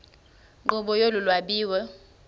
nkqubo yolu lwabiwo